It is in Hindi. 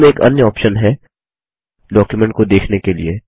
ज़ूम एक अन्य ऑप्शन है डॉक्युमेंट को देखने के लिए